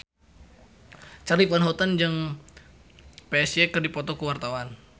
Charly Van Houten jeung Psy keur dipoto ku wartawan